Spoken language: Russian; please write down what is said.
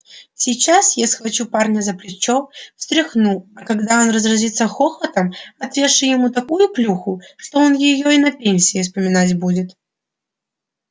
сейчас я схвачу парня за плечо встряхну а когда он разразится хохотом отвешу ему такую плюху что он её и на пенсии вспоминать будет